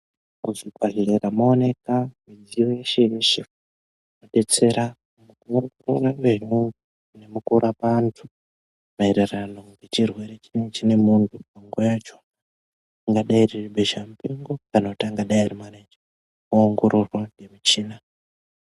Muzvibhedhlera mowanika midziyo yeshe yeshe detsera nguwa nemukuwo Mukurapa antu maererano nechirwere chinenga chine muntu panguwa yacho ringadai riri besha mupengo kana kuti anga dai ari manaija oongororwa ngemichina.